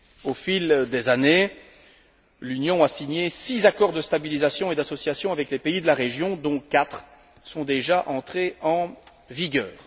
Au fil des années, l'Union a signé six accords de stabilisation et d'association avec les pays de la région, dont quatre sont déjà entrés en vigueur.